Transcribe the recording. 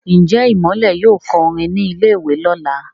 Njé Imole yóò kọ orin ní ilè ìwé lọla?